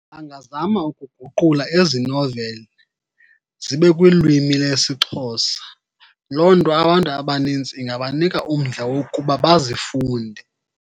Bangazama ukuguqula ezi noveli zibe kwilwimi lesiXhosa. Loo nto abantu abanintsi ingabanika umdla wokuba bazifunde.